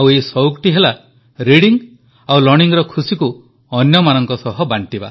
ଏହି ସଉକଟି ହେଲା ରିଡିଙ୍ଗ୍ ଓ ଲର୍ଣ୍ଣିଂର ଖୁସିକୁ ଅନ୍ୟମାନଙ୍କ ସହ ବାଂଟିବା